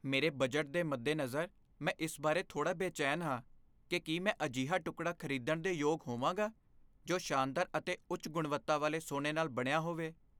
ਮੇਰੇ ਬਜਟ ਦੇ ਮੱਦੇਨਜ਼ਰ, ਮੈਂ ਇਸ ਬਾਰੇ ਥੋੜਾ ਬੇਚੈਨ ਹਾਂ ਕਿ ਕੀ ਮੈਂ ਇੱਕ ਅਜਿਹਾ ਟੁਕੜਾ ਖ਼ਰੀਦਣ ਦੇ ਯੋਗ ਹੋਵਾਂਗਾ ਜੋ ਸ਼ਾਨਦਾਰ ਅਤੇ ਉੱਚ ਗੁਣਵੱਤਾ ਵਾਲੇ ਸੋਨੇ ਨਾਲ ਬਣਿਆ ਹੋਵੇ।